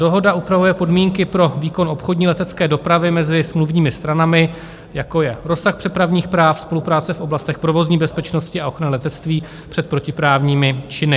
Dohoda obsahuje podmínky pro výkon obchodní letecké dopravy mezi smluvními stranami, jako je rozsah přepravních práv, spolupráce v oblastech provozní bezpečnosti a ochrany letectví před protiprávními činy.